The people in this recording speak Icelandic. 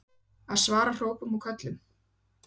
Að svara ekki hrópum og köllum?